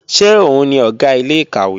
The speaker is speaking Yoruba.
Ṣé òun ni Ọ̀gá ilé-ìkàwé?